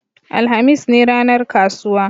alhamis ne ranar kasuwa